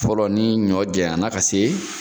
Fɔlɔ ni ɲɔ janyana ka se